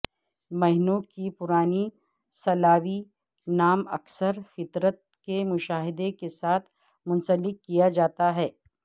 مہینوں کی پرانی سلاوی نام اکثر فطرت کے مشاہدے کے ساتھ منسلک کیا جاتا ہے